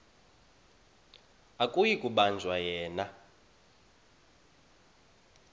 akuyi kubanjwa yena